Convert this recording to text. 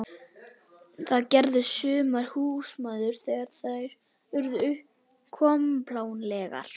Það gerðu sumar húsmæður þegar þær urðu kompánlegar.